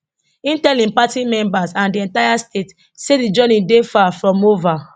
im tell im party members and di entire state say di journey dey far from ova